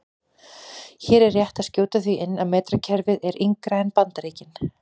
Hér er rétt að skjóta því inn að metrakerfið er yngra en Bandaríkin.